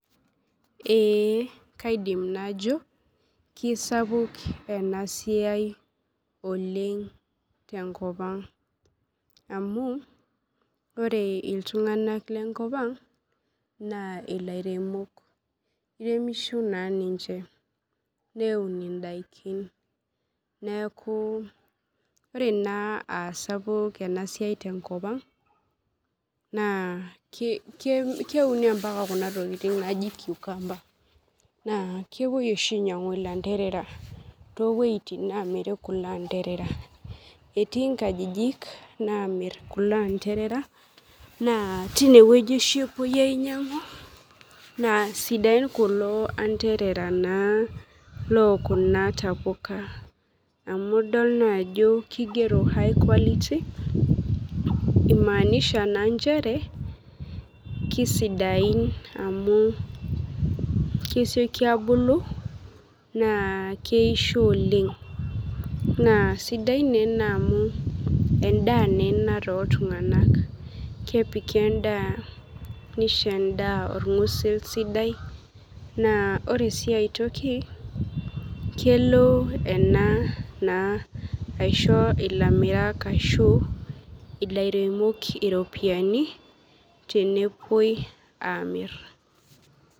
Ee kaidim najo kisapuk enasiai oleng tenkop aang amu ore ltunganak lenkopaang na lairemok keremisho na ninche neun indakin neaku ore na aasapuk enasia tenkop aang na keuni mbaka kuna tokitin naji cucumber na kepuoi oshi ainyangu landerera towuejitin namiri landerera etii nkajijik namir kulo anderera na tinewueji epuo ainyangu na sidain kulo anderera lokuna tapuka amu idol na ajo kigero high quality imaanisha ajo kesidain amu kesioki abulu na keisho oleng na sidai ena anu endaa na ena toltungani kepiki endaa neisho endaa orngusil sidai na kelo ena aisho lamirak ashu ilaremok iropiyiani tenepuoi amir.